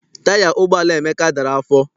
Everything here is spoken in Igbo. Taya ụgbọala Emeka dara afọ.